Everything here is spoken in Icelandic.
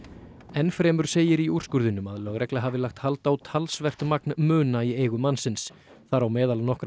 enn fremur segir í úrskurðinum að lögregla hafi lagt hald á talsvert magn muna í eigu mannsins þar á meðal nokkra